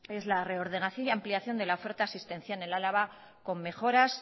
es la reordenación y ampliación de la oferta asistencial en álava con mejoras